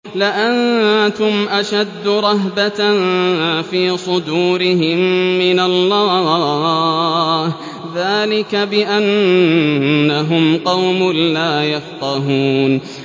لَأَنتُمْ أَشَدُّ رَهْبَةً فِي صُدُورِهِم مِّنَ اللَّهِ ۚ ذَٰلِكَ بِأَنَّهُمْ قَوْمٌ لَّا يَفْقَهُونَ